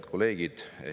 Head kolleegid!